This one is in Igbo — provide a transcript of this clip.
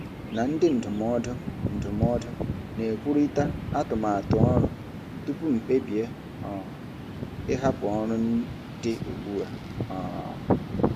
na ndị ndụmọdụ ndụmọdụ na-ekwurịta atụmatụ ọrụ tupu m kpebie um ịhapụ ọrụ dị ugbu a. um